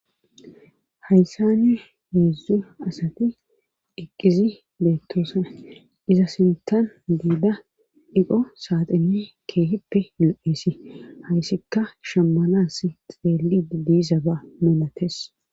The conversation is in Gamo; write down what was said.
Haysan heedzdzu asati eqqizi beettoosa iza sintan biida iqo saaxine keehippe yu7eesi hayssikka shammalas xeeli didizaba moolates